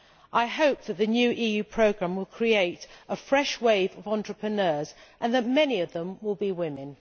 I hope that the new EU programme will create a fresh wave of entrepreneurs and that many of them will be women.